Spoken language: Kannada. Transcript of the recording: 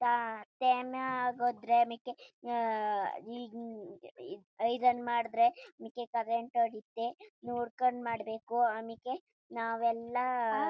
ಟೈಮ್ ಅಗೋದ್ರೆ ಆಮೇಕೆ ಐರನ್ ಮಾಡದ್ರೆ ಆಮೇಕೆ ಕರೆಂಟ್ ಹೊಡಿಯುತ್ತೆ ನೋಡ್ಕೊಂಡು ಮಾಡಬೇಕು ಆಮೇಕೆ ನಾವು ಎಲ್ಲ--